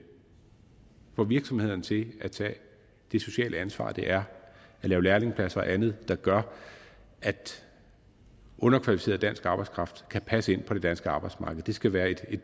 får virksomhederne til at tage det sociale ansvar det er at lave lærlingepladser og andet der gør at underkvalificeret dansk arbejdskraft kan passe ind på det danske arbejdsmarked det skal være et